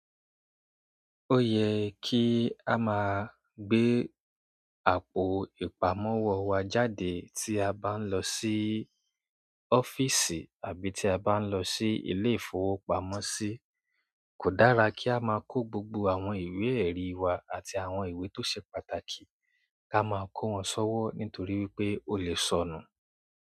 Ó yẹ kí a máa gbé àpò ìpamọ́ wa jáde tí a bá ń lọ sí ọ́fíìsì àbí tí a bá ń lọ sí ilé-ìfowópamọ́sí. Kò dára kí a máa kó gbogbo àwọn ìwé-ẹ̀rí wa àti àwọn ìwé tó ṣe pàtàkì ká máa kó wọn sọ́wọ́ nítorí wípé ó lè sọnù.